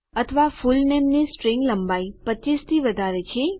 અથવાફુલનેમની string લંબાઈ 25 થી વધારે છે